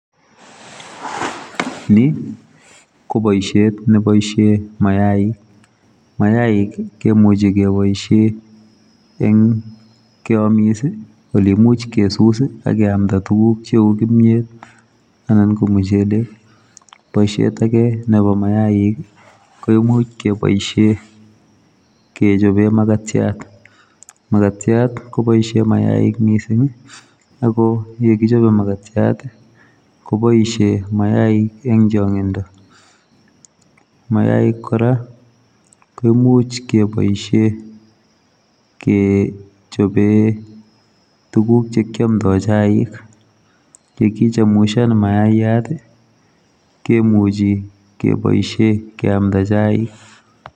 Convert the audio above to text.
Ni ko boisiet nebaisheen mayaik ,mayaik ii kimuchei kebaisheen eng keamis ii ole imuch kesus ii akeyamdaa tuguuk che uu kimyeet anan ko muchelek, boisiet age nebo mayaik ii koimuuch kebaisheen kechapeen makatiat ,makatiat kobaishe mayaik missing ii ago ye kichape Makatiat ii kobaisheen mayaik eng changindo ,mayaik kora koimuuch kebaisheen ke chapeen tuguuk che kiamdaa chaik ,kichemushaan mayayat ii kemuchii kebaisheen keyamdaa chaik.